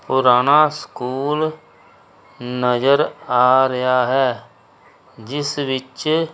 ਪੁਰਾਨਾ school ਨਜ਼ਰ ਆ ਰਿਹਾ ਹੈ ਜਿੱਸ ਵਿੱਚ--